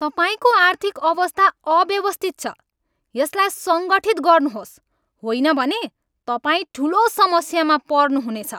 तपाईँको आर्थिक अवस्था अव्यवस्थित छ! यसलाई सङ्गठित गर्नुहोस्, होइन भने तपाईँ ठुलो समस्यामा पर्नुहुनेछ।